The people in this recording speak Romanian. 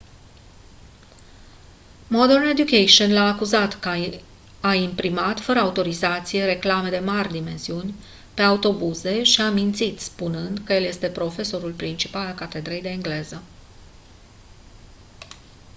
modern education l-a acuzat că a imprimat fără autorizație reclame de mari dimensiuni pe autobuze și a mințit spunând că el este profesorul principal al catedrei de engleză